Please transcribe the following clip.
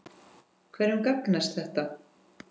Hverjum gagnast þetta?